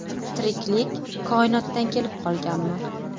Tiriklik koinotdan kelib qolganmi?